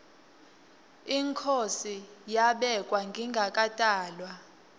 inkhosi yabekwa ngingakatalwa